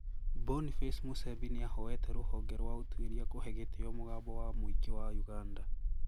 Boniface Musembi niahoete ruhonge rwa utuiria kuhe gitio mugambo wa muingi wa Uganda